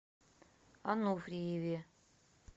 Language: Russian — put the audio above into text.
ануфриеве